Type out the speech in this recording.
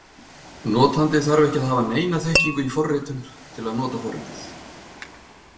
Notandi þarf ekki að hafa neina þekkingu í forritun til að nota forritið.